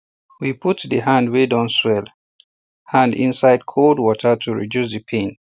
we put the hand wey don swell hand inside cold water to reduce the pain